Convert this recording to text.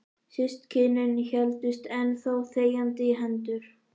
Systkinin héldust enn þá þegjandi í hendur.